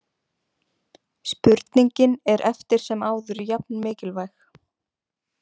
Spurningin er eftir sem áður jafn mikilvæg.